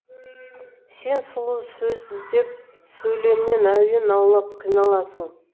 сен сұлу сөз іздеп сөйлемнен әуен аулап қиналасың